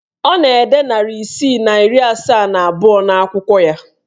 Ọ na-ede narị isii na iri asaa na abụọ n'akwụkwọ ya.